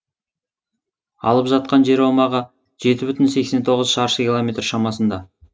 алып жатқан жер аумағы жеті бүтін сексен тоғыз шаршы километр шамасында